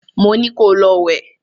Mo ní ko lọ wẹ̀!